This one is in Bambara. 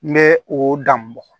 N bɛ o dan bugɔ